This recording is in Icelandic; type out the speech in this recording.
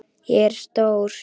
Ég er stór.